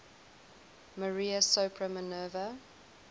maria sopra minerva